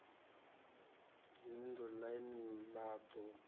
dzinn ḓu ḽine ḽa ḓo